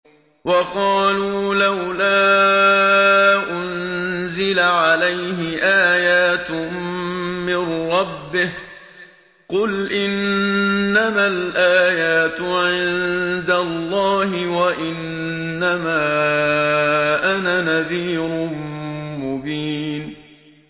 وَقَالُوا لَوْلَا أُنزِلَ عَلَيْهِ آيَاتٌ مِّن رَّبِّهِ ۖ قُلْ إِنَّمَا الْآيَاتُ عِندَ اللَّهِ وَإِنَّمَا أَنَا نَذِيرٌ مُّبِينٌ